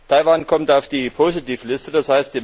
Taiwan kommt auf die Positivliste, d.